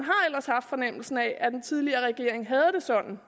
ellers haft fornemmelsen af at den tidligere regering havde det sådan